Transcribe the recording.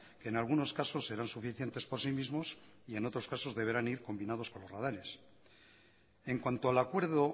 en algunos casos serán suficientes por sí mismos y en otros casos deberán ir combinados con los radares en cuanto al acuerdo